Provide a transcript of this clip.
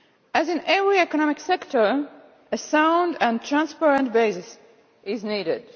As in every economic sector, a sound and transparent basis is needed.